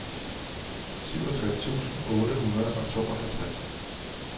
syvogtres tusind otte hundrede og tooghalvtreds